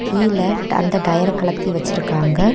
கீழ டந்த டயரை கலத்தி வச்சிருக்காங்க.